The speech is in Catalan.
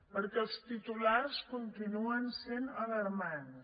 perquè els titulars continuen sent alarmants